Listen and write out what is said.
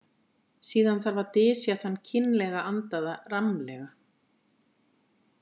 Síðan þarf að dysja þann kynlega andaða rammlega.